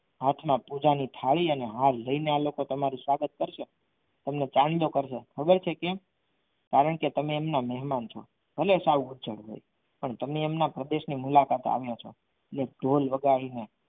હાથમાં પૂજાની થાળી અને હાર લઈને આ લોકો તમારું સ્વાગત કરશે તમને ચાંદલો કરશે ખબર છે કેમ કારણકે તમે એમના મહેમાન છો ભલે સાવ નીચા હોય પણ તમે એમના પ્રદેશની મુલાકાતે આવ્યા છો અને ઢોલ વગાડીને